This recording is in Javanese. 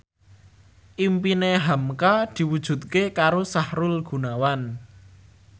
impine hamka diwujudke karo Sahrul Gunawan